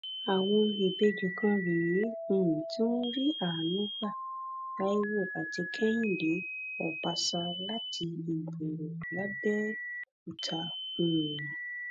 àwọn ìbejì kan rè é um tí wọn rí àánú gbà taiwo àti kẹhinde ọbaṣà láti igbòrè làbẹọkútà um